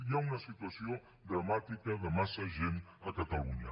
hi ha una situació dramàtica de massa gent a catalunya